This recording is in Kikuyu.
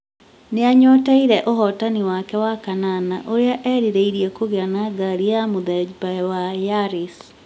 nĩ anyoteire ũhotani wake wa kanana ũrĩa erirĩirie kũgĩa na ngari ya mũthemba wa Yaris.